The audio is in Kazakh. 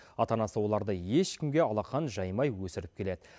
ата анасы оларды ешкімге алақан жаймай өсіріп келеді